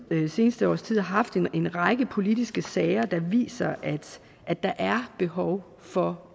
det seneste års tid har haft en række politiske sager der viser at der er behov for